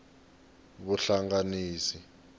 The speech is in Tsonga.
vuhlanganisi